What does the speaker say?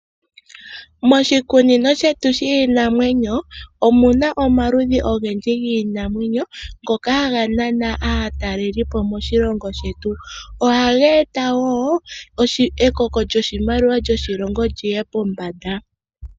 Moshikunino shetu shiinamwenyo omuna omaludhi ogendji giinamwenyo ngoka haga nana aatalelipo moshilongo shetu. Ohage eta wo ekoko lyoshimaliwa lyoshilongo lyiye pombanda.